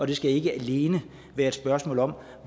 det skal ikke alene være et spørgsmål om